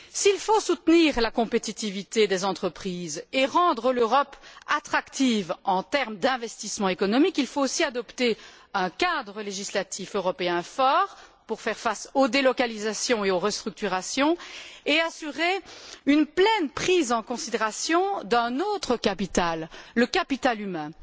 S'il faut soutenir la compétitivité des entreprises et rendre l'Europe attractive en termes d'investissement économique, il faut aussi adopter un cadre législatif européen fort pour faire face aux délocalisations et aux restructurations et assurer une pleine prise en considération d'un autre capital le capital humain.